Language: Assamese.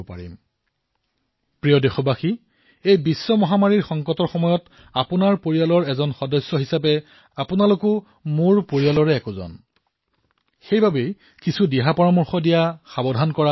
মোৰ মৰমৰ দেশবাসীসকল এই বিশ্বজনীন মহামাৰীৰ সংকটৰ সময়ত আপোনালোকৰ পৰিয়ালৰ এজন সদস্যৰ হিচাপত আৰু আপোনালোক মোৰেই পৰিয়াল সেয়ে কিছু সংকেত দিয়া কিছু পৰামৰ্শ দিয়াটো মোৰো এক দায়িত্ব